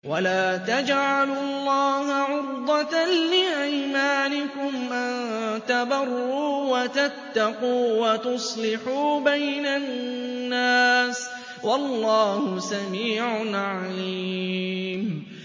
وَلَا تَجْعَلُوا اللَّهَ عُرْضَةً لِّأَيْمَانِكُمْ أَن تَبَرُّوا وَتَتَّقُوا وَتُصْلِحُوا بَيْنَ النَّاسِ ۗ وَاللَّهُ سَمِيعٌ عَلِيمٌ